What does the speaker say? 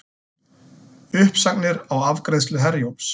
Uppsagnir á afgreiðslu Herjólfs